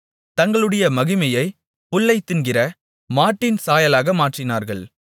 தங்களுடைய மகிமையைப் புல்லைத் தின்கிற மாட்டின் சாயலாக மாற்றினார்கள்